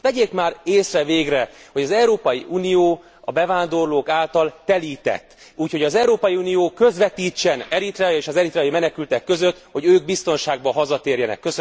Hát vegyék már észre végre, hogy az Európai Unió a bevándorlók által telített, úgyhogy az Európai Unió közvetítsen Eritrea és az eritreai menekültek között, hogy ők biztonságban hazatérjenek.